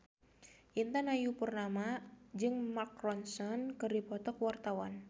Intan Ayu Purnama jeung Mark Ronson keur dipoto ku wartawan